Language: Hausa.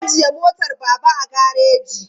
An ajiye motar Baba a gareji.